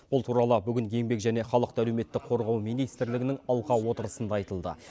бұл туралы бүгін еңбек және халықты әлеуметтік қорғау министрлігінің алқа отырысында айтылды